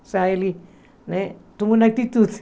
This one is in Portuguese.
Ou seja, ele, né, tomou uma atitude.